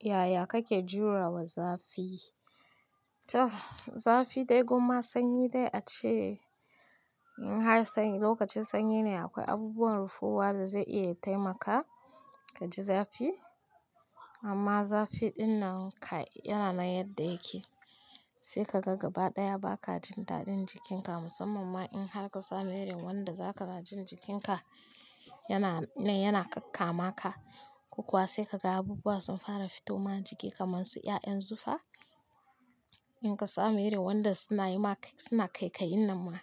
Yaya kake jurewa zafi? Zafi dai gon ma sanyi dai, a ce in har sanyi, lokacin sanyi ne akwai abubuwan rufuwa da zai iya ya taimaka ka ji zafi amma zafi ɗinnan kai yana nan yadda yake. Sai ka ga gaba ɗaya ba ka jin daɗin jikinka musamman ma in har ka samu irin wanda za ka na jin jikinka yana, yana kakkama ka. Ko kuwa sai ka ga abubuwa sun fara fito ma jiki kamar su ƴaƴan zufa. In ka samu wanda suna yi ma kai, suna kaika yin nan ma,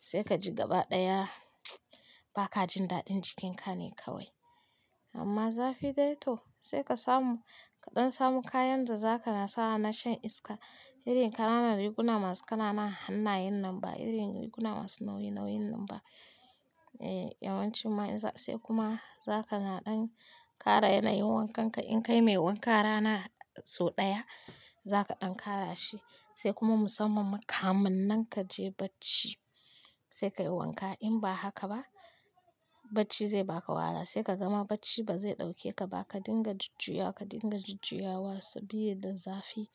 sai ka ji gaba ɗaya ba ka jin daɗin jikinka ne kawai. Amma zafi dai to sai ka samu, kaɗan samu kayan da za ka na sawa na shan iska. Irin ƙananan riguna masu ƙananan hannayen nan ba, irin riguna masu nauyi nauyin nan ba. Eh yawancin ma in, sai kuma za ka na ɗan ƙara yana yin wankan ka. In kai mai wanka rana sau ɗaya, za ka ɗan ƙara shi sai kuma musamman ma kaminnan ka je bacci sai ka yi wanka. In ba haka ba bacci zai baka wahala sai ka gama bacci ba zai ɗauke ka ba. Ka dinga jujjuyawa, ka dinga jujjuyawa sa bi da zafi.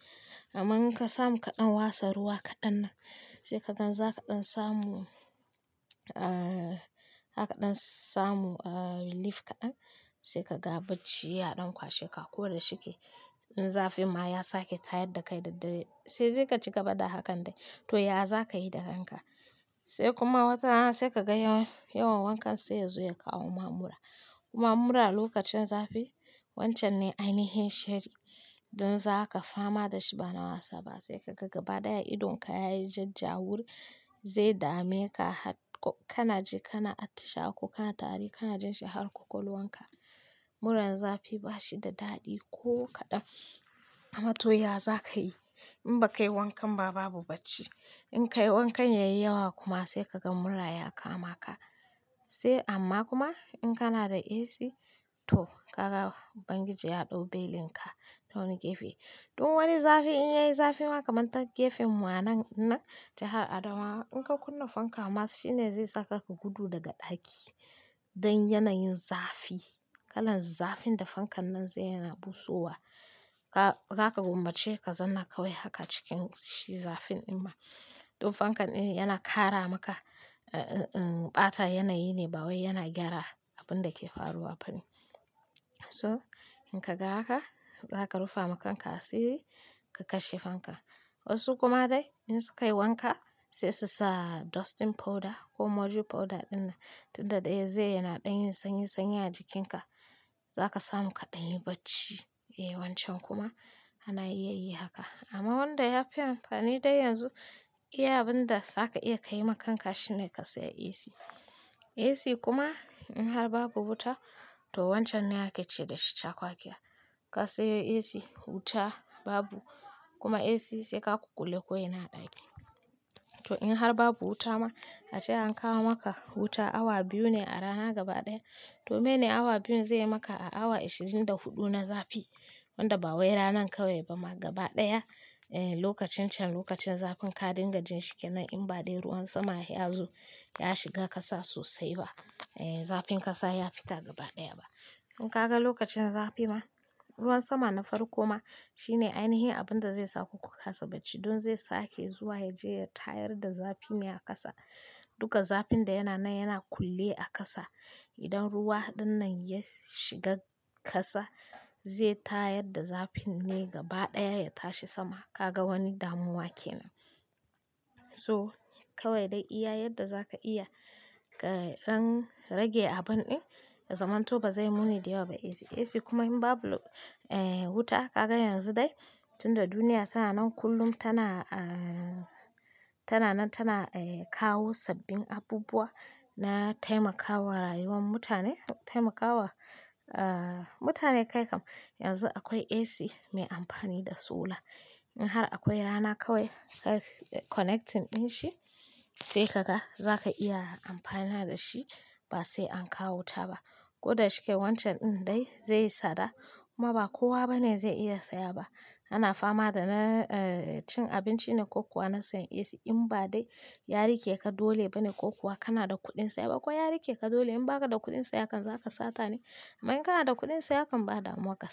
Amma in ka samu kaɗan wasa ruwa kaɗan nan sai ka gan za ka ɗan samu, zaka ɗan samu relief kaɗan sai ka ga bacci ya ɗan kwasheka ko da shike. In zafin ma ya sake tayar da kai daddare sai dai ka ci gaba da hakan dai to ya za ka yi da kanka? Sai kuma watarana sai ka ga yawan wankan sai ya zo ya kawo ma mura. Kuma mura lokacin zafi wancan ne ainihin shari. Don za ka fama da shi ba na wasa ba sai ka ga gaba ɗaya idonka ya yi jajjawur. Zai dame ka har ko kana ji kana atisha wa ko kana tari kana jin shi har kwakwalwanka. Muran zafi ba shi da daɗi ko kaɗan amma to, ya za ka yi? In ba kayi wankan ma babu bacci. In ka yi wankan yayi yawa kuma sai ka ga mura ya kama ka. Sai amma kuma in kana da AC, to ka ga ubangiji ya ɗau belin ka tawani gefe. Duk wani zafi in yayi zafi ma kamar ta gefen mu anan innan ja har adamawa in ka kunna fanka ma shine zai saka ka gudu daga ɗaki don yanayin zafi. Kalan zafin da fankan nan zai yana busowa. Ka, za ka gummace ka zauna kawai haka cikin shi zafin imma. Don fankan in yana ƙara maka, eh, ɓata yanayi ne ba wai yana gyara abun da ke faruwa ba ne. So in ka ga haka za ka rufa ma kan ka asiri ka kashe fanka. Wasu kuma dai in su ka yi wanka sai su sa dusting powder ko mojo powder ɗinnan tunda ɗai zai yana ɗanyin sanyi sanyi a jikinka. Za ka samu kaɗan yi bacci. Eh, wan can kuma ana iya yi haka amma wanda ya fi amfani dai yanzu iya abin da za ka iya kayi ma kan ka shine ka sayi AC. AC kuma in har babu wuta to wancan ne ake ce da shi cakwakiya. Ka sayi AC, wuta babu kuma AC sai ka ku kulle ko ina a ɗaki. To in har babu wuta ma, ace an kawo maka wuta awa biyu ne a rana gaba ɗaya to mene awa biyun zai yi maka a awa ashirin da huɗu na zafi wanda ba wai ranan kawai ba ma gaba ɗaya. Eh, lokacin can lokacin zafin ka dinga jin shikenan in ba dai ruwan sama ya zo ya shiga kasa sosai ba. Eh, zafin kasa ya fita gaba ɗaya ba. In ka ga lokacin zafi ma ruwan sama na farko ma shine ainihi abin da zai sa ku ku kasa bacci don zai sake zuwa ya je ya tayar da zafi ne a kasa. Duka zafin da yana nan yana kulle a kasa. Idan ruwa ɗinnan ya shiga kasa zai tayar da zafin ne gaba ɗaya ya tashi sama. Ka ga wani damuwa kenan. So kawai dai iya yadda za ka iya kaɗan rage abun ɗin ya zamanto ba zai muni da yawa ba AC. AC kuma in babu, wuta ka ga yanzu dai tunda duniya tana nan kullum tana, tana nan tana, kawo sabbin abubuwa na taimakawa rayuwar mutane. Taimakawa, mutane kai kam yanzu akwai AC mai amfani da solar. In har akwai rana kawai kayi connecting ɗin shi sai ka ga za ka iya amfana da shi ba sai an kawo wuta ba. Ko da shike wancan ɗin dai zai yi tsada kuma ba kowa bane zai iya saya ba. Ana fama da na, cin abinci ne ko kuwa na sayan AC in ba dai yari ke ka dole bane ko kuwa kana da kuɗin saye ba. Ko yari ke ka dole in ba ka da kuɗin seya kam za ka sata ne? Amma in kana da kuɗin seya kam ba damuwa kasa.